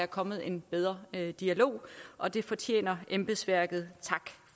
kommet en bedre dialog og det fortjener embedsværket tak